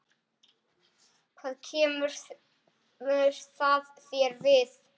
Hvað kemur það þér við?